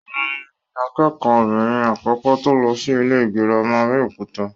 Òhun ni akẹ́kọ̀ọ́ obìnrin àkọ́kọ́ tó lọ sí ilé gírámà Abẹ́òkúta.